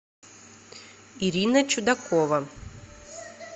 ирина чудакова